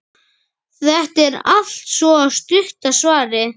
Þetta er altso stutta svarið.